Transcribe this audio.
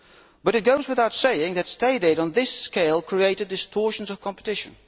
But it goes without saying that State aid on this scale created distortions of competition.